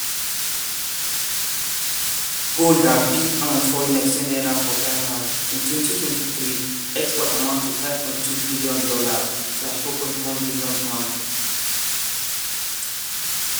gold na big um foreign-exchange um earner for ghana – in 2023 exports amount to $5.2bn (£4.1bn).